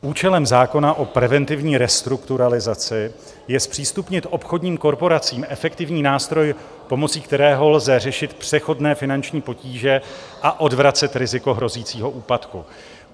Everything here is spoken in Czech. Účelem zákona o preventivní restrukturalizaci je zpřístupnit obchodním korporacím efektivní nástroj, pomocí kterého lze řešit přechodné finanční potíže a odvracet riziko hrozícího úpadku.